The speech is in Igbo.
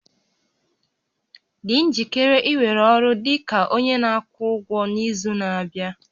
Dị njikere iwere ọrụ dị ka onye na-akwụ ụgwọ n'izu na-abịa